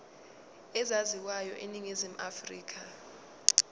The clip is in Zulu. ezaziwayo eningizimu afrika